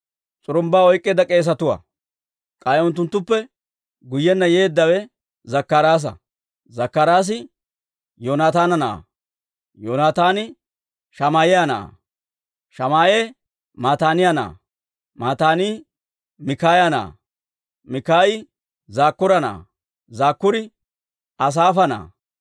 s'urumbbaa oyk'k'iide k'eesetuwaa. K'ay unttunttuppe guyyenna yeeddawe Zakkaraasa; Zakkaraasi Yoonataana na'aa; Yoonataani Shamaa'iyaa na'aa; Shamaa'e Mataaniyaa na'aa; Mataanii Mikaaya na'aa; Mikaayi Zakkuura na'aa; Zakkuuri Asaafa na'aa.